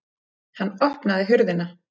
Hann opnaði hurðina.